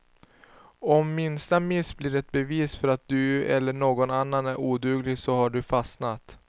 Om minsta miss blir ett bevis för att du eller någon annan är oduglig så har du fastnat.